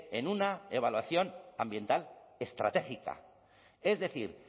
en una evaluación ambiental estratégica es decir